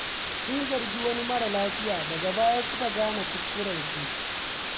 Sun zargi wani mara laifi, daga baya suka gane kuskurensu.